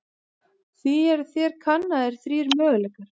Því eru hér kannaðir þrír möguleikar.